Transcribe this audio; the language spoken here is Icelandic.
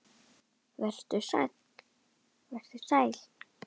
Vertu sæl.